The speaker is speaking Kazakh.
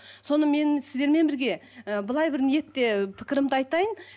соны мен сіздермен бірге ы былай бір ниетте пікірімді айтайын